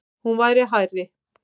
Hún verði hærri.